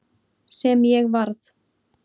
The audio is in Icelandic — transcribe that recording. Sem ég varð.